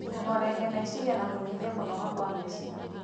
kũhooreria meciria na kũnyihia kũnoga kwa meciria.